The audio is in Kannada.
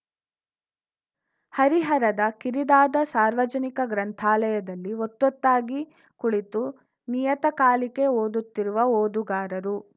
ಹರಿಹರದ ಕಿರಿದಾದ ಸಾರ್ವಜನಿಕ ಗ್ರಂಥಾಲಯದಲ್ಲಿ ಒತ್ತೊತ್ತಾಗಿ ಕುಳಿತು ನಿಯತಕಾಲಿಕೆ ಓದುತ್ತಿರುವ ಓದುಗಾರರು